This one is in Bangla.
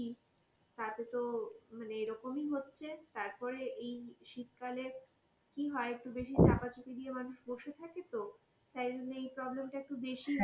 তাতে তো মানে এই রকম এ হচ্ছে, তারপরে এই শীত কালে কি হয়, একটু বেশি চাপা চুপি দিয়ে মানুষ বসে থাকে তো, তাই জন্য এই problem তা একটু বেশিই হয়.